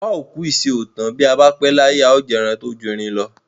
Bà ó kú ìṣe kò tán. Bi a ba pe laye, a o jẹ eran to ju erin lo.